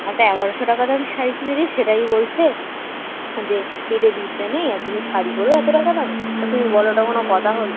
একটা এগারোশ টাকা দামের শাড়ি কিনে দিয়েছে সেটাই বলছে যে পেটে বিদ্যে নেই আর তুমি শাড়ি পড় এত টাকা দামের তা তুমি বলো এটা কোন কথা হল